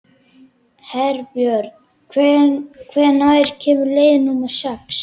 Herbjörn, hvenær kemur leið númer sex?